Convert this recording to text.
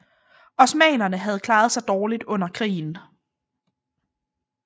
Osmannerne havde klaret sig dårligt under krigen